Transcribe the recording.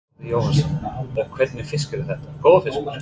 Þórhallur Jósefsson: Og hvernig fiskur er þetta, góður fiskur?